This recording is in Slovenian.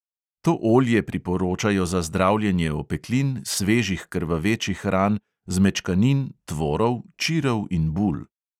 To olje priporočajo za zdravljenje opeklin, svežih krvavečih ran, zmečkanin, tvorov, čirov in bul.